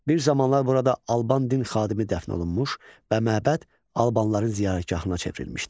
Bir zamanlar burada Alban din xadimi dəfn olunmuş və məbəd Albanların ziyarətgahına çevrilmişdi.